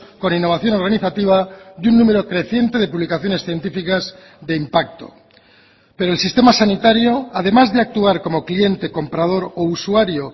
con innovación organizativa y un número creciente de publicaciones científicas de impacto pero el sistema sanitario además de actuar como cliente comprador o usuario